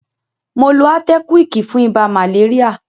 Mo lo átẹ́kíwíìkì fún ibà màléríà.